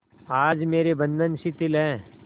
आज मेरे बंधन शिथिल हैं